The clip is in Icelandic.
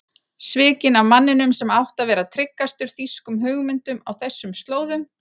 Svikinn af manninum sem átti að vera tryggastur þýskum hugmyndum á þessum slóðum.